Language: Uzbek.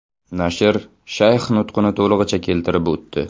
Nashr shayx nutqini to‘lig‘icha keltirib o‘tdi.